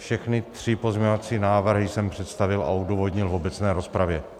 Všechny tři pozměňovací návrhy jsem představil a odůvodnil v obecné rozpravě.